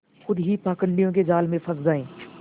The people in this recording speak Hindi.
खुद ही पाखंडियों के जाल में फँस जाए